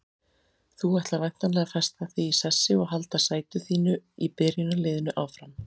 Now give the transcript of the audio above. Þú ætlar væntanlega að festa þig í sessi og halda sæti þínu í byrjunarliðinu áfram?